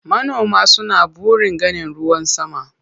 Manoma suna burin ganin ruwan sama.